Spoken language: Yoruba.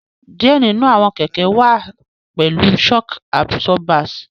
Diẹ ninu awọn kẹkẹ wà pẹlú shock absorbers